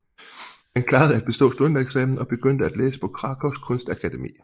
Han klarede at bestå studentereksamen og begyndte at læse på Krakóws kunstakademi